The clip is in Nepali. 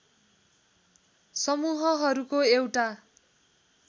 समूहहरूको एउटा